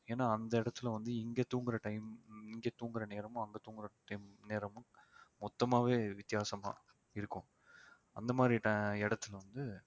ஏன்னா அந்த இடத்தில வந்து இங்க தூங்குற time இங்க தூங்குற நேரமும் அங்க தூங்குற time நேரமும் மொத்தமாவே வித்தியாசமா இருக்கும் அந்த மாதிரி ti~ இடத்துல வந்து